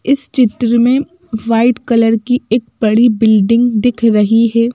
इस चित्र में वाइट कलर की एक बड़ी बिल्डिंग दिख रही है।